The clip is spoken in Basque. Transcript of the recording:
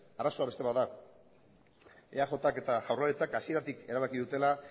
arazoa beste bat da eajk eta jaurlaritzak hasieratik erabaki dutela